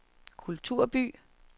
kulturby